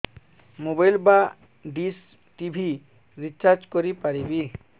mobile ବା dish TV recharge କରି ପାରିବି